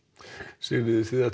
Sigríður þið